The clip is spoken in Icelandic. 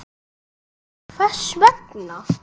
Gísli: Hvers vegna?